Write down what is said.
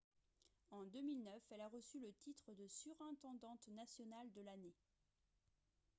en 2009 elle a reçu le titre de surintendante nationale de l'année